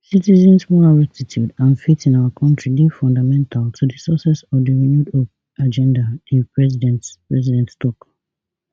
citizens moral rectitude and faith in our kontri dey fundamental to di success of di renewed hope agenda di president president tok